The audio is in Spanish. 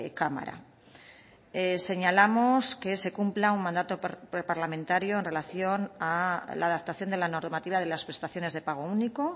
cámara señalamos que se cumpla un mandato parlamentario en relación a la adaptación de la normativa de las prestaciones de pago único